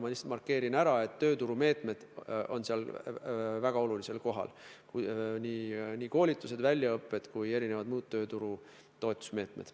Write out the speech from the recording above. Ma lihtsalt markeerin ära, et tööturumeetmed on seal väga olulisel kohal – nii koolitused, väljaõpped kui mitmesugused muud tööturu toetusmeetmed.